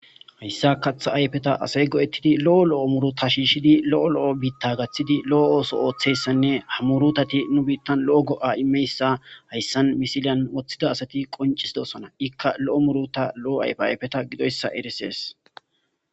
hayssa katha ayfeta asay go7ettidi lo7o lo7o muru ta shiishshidi lo7o lo7o biitta gaththidi lo7o ooso ooththessanne hamurutati nu biittan lo7o go7a imeyssa hayssan misiliyan woththida asati qoncisidosona ikka lo7o muruta lo7o ayfe ayfeta gidoyssa eresees